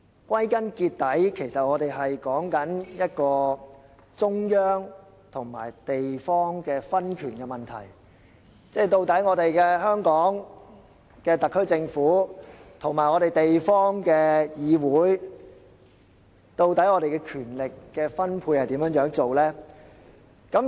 歸根結底，我們所說的是一個中央與地方的分權問題，也就是香港特區政府與地方議會的權力分配應如何處理。